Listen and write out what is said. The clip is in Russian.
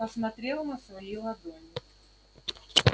посмотрел на свои ладони